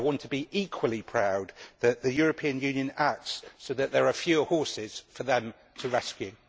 I want to be equally proud that the European Union acts so that there are fewer horses for them to rescue.